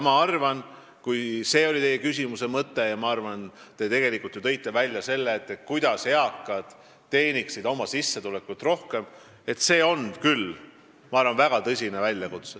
Ma arvan, et see, kuidas eakad teeniksid suuremat sissetulekut – kui see oli teie küsimuse mõte –, on küll väga tõsine küsimus.